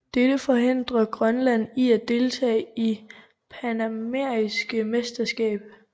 Dette forhindrede Grønland i at deltage i det panamerikanske mesterskaber